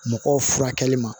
Mɔgɔw furakɛli ma